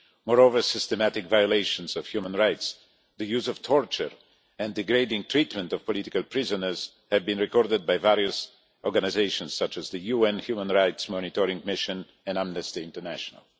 Moreover, systematic violations of human rights, the use of torture and degrading treatment of political prisoners have been recorded by various organisations such as the UN Human Rights Monitoring Mission and Amnesty International.